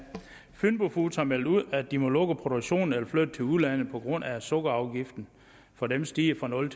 fynbo foods har meldt ud at de må lukke produktionen eller flytte til udlandet på grund af at sukkerafgiften for dem stiger fra nul